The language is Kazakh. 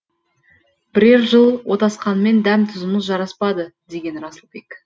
бірер жыл отасқанмен дәм тұзымыз жараспады деген расылбек